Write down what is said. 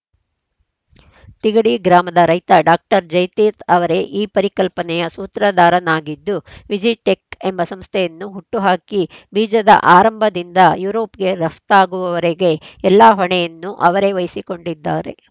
ತಿಗಡಿ ಗ್ರಾಮದ ರೈತ ಡಾಕ್ಟರ್ ಜಯತೀರ್ಥ ಅವರೇ ಈ ಪರಿಕಲ್ಪನೆಯ ಸೂತ್ರಧಾರನಾಗಿದ್ದು ವಿಜಿ ಟೆಕ್‌ ಎಂಬ ಸಂಸ್ಥೆಯನ್ನು ಹುಟ್ಟು ಹಾಕಿ ಬೀಜದ ಆರಂಭದಿಂದ ಯುರೋಪ್‌ಗೆ ರಫ್ತಾಗುವವರೆಗೆ ಎಲ್ಲ ಹೊಣೆಯನ್ನು ಅವರೇ ವಹಿಸಿಕೊಂಡಿದ್ದಾರೆ